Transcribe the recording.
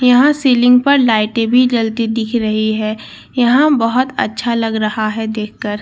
यहां सीलिंग पर लाइटें भी जलती दिख रही है यहां बहोत अच्छा लग रहा है देखकर--